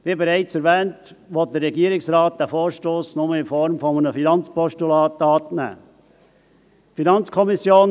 Wie bereits erwähnt, will der Regierungsrat den Vorstoss nur in Form eines Finanzpostulats annehmen.